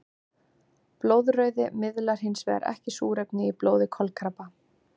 Blóðrauði miðlar hinsvegar ekki súrefni í blóði kolkrabba.